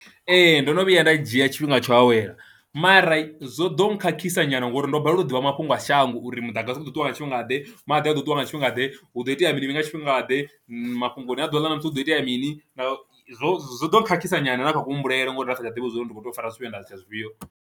Ee, ndono vhuya nda dzhia tshifhinga tsho awela mara zwo ḓo nkhakhisa nyana ngori ndo balelwa u ḓivha mafhungo a shango uri muḓagasi a ḓo ṱuwa nga tshifhinga ḓe, maḓi a ṱuṱuwa nga tshifhinga ḓe, hu do itea mini nga tshifhinga ḓe, mafhungoni a ḓuvha ḽa ṋamusi hu do itea mini. Zwo zwo do khakhisa nyana na kha ku humbulele ngori ndi sa tsha ḓivha uri ndi kho tea u fara zwifhio nda litsha zwifhio.